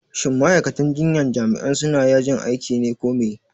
shin ma'aikatan jinyan jami'an suna yajin aiki ne ko me?